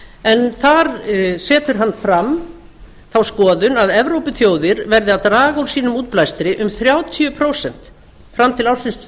en þar setur hann fram þá skoðun að evrópuþjóðir verði að draga úr sínum útblæstri um þrjátíu prósent fram til ársins tvö